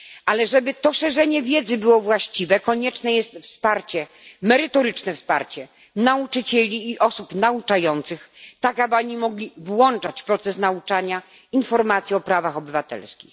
Ale żeby to szerzenie wiedzy było właściwe, konieczne jest merytoryczne wsparcie nauczycieli i osób nauczających, tak aby oni mogli włączać w proces nauczania informacje o prawach obywatelskich.